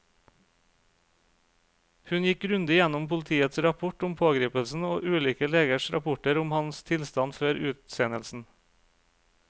Hun gikk grundig gjennom politiets rapport om pågripelsen og ulike legers rapporter om hans tilstand før utsendelsen.